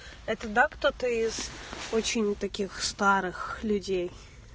это да кто то очень таких старых людей